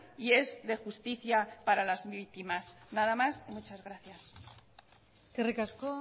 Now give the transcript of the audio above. y es de justicia para las víctimas nada más muchas gracias eskerrik asko